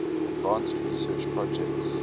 advanced research projects